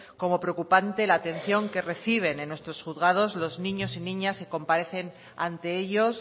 como preocupante la atención que reciben en nuestros juzgados los niños y niñas que comparecen ante ellos